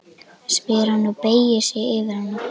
spyr hann og beygir sig yfir hana.